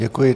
Děkuji.